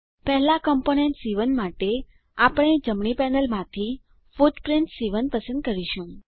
પહેલા કમ્પોનન્ટ સી1 માટે આપણે જમણી પેનલમાંથી ફૂટપ્રીંટ સી1 પસંદ કરીશું